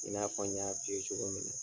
I n'a fɔ n y'a fiye cogo mina.